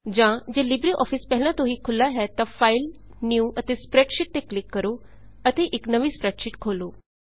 ਜਾਂ ਜੇ LibreOffice ਪਹਿਲਾਂ ਤੋਂ ਹੀ ਖੁੱਲਾ ਹੈ ਤਾਂ ਫਾਈਲ ਫਾਈਲ ਨਿਊ ਨਿਊ ਅਤੇ ਸਪ੍ਰੈਡਸ਼ੀਟ ਸਪ੍ਰੈਡਸ਼ੀਟ ਤੇ ਕਲਿੱਕ ਕਰੋ ਅਤੇ ਇੱਕ ਨਵੀਂ ਸਪ੍ਰੈਡਸ਼ੀਟ ਖੋਲੋ